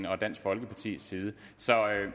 og dansk folkepartis side så